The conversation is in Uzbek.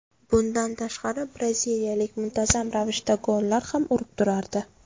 Bundan tashqari braziliyalik muntazam ravishda gollar ham urib turardi.